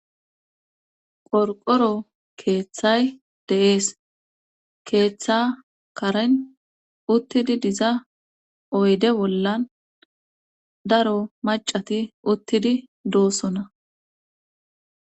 Qorqoro keeththay de7ees keeththa karen uttidi diza oyde bollan daro macati uttidi doosona.